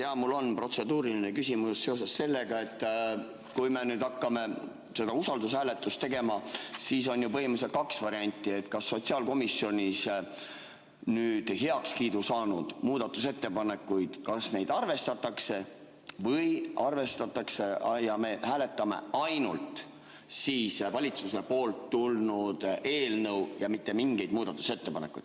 Jah, mul on protseduuriline küsimus seoses sellega, et kui me nüüd hakkame seda usaldushääletust tegema, siis on põhimõtteliselt kaks varianti: kas sotsiaalkomisjonis heakskiidu saanud muudatusettepanekuid arvestatakse või me hääletame ainult valitsuselt tulnud eelnõu ja mitte mingeid muudatusettepanekuid.